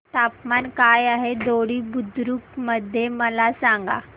तापमान काय आहे दोडी बुद्रुक मध्ये मला सांगा